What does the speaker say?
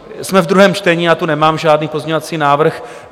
Jsme v druhém čtení, já tu nemám žádný pozměňovací návrh.